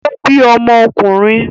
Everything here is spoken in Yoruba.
Ó bí ọmọkùnrin?